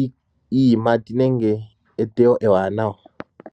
iiyimati nenge eteyo ewanawa.